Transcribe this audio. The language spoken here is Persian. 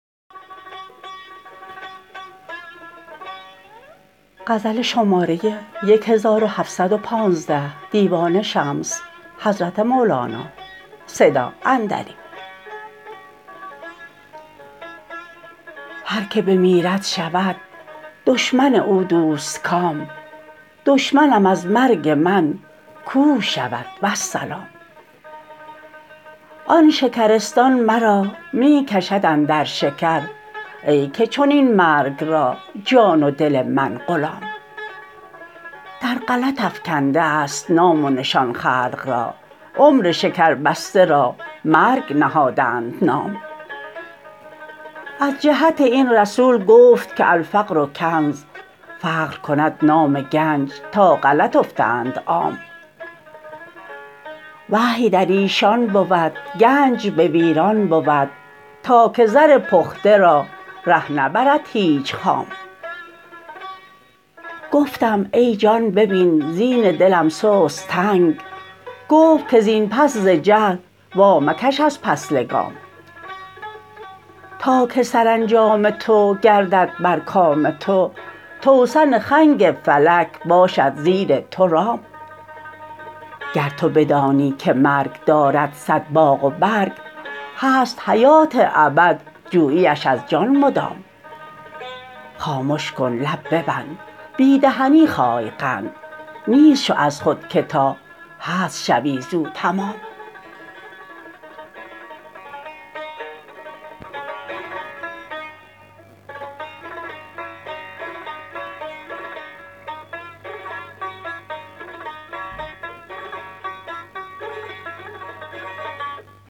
هر کی بمیرد شود دشمن او دوستکام دشمنم از مرگ من کور شود والسلام آن شکرستان مرا می کشد اندر شکر ای که چنین مرگ را جان و دل من غلام در غلط افکنده ست نام و نشان خلق را عمر شکربسته را مرگ نهادند نام از جهت این رسول گفت که الفقر کنز فقر کند نام گنج تا غلط افتند عام وحی در ایشان بود گنج به ویران بود تا که زر پخته را ره نبرد هیچ خام گفتم ای جان ببین زین دلم سست تنگ گفت که زین پس ز جهل وامکش از پس لگام تا که سرانجام تو گردد بر کام تو توسن خنگ فلک باشد زیر تو رام گر تو بدانی که مرگ دارد صد باغ و برگ هست حیات ابد جوییش از جان مدام خامش کن لب ببند بی دهنی خای قند نیست شو از خود که تا هست شوی زو تمام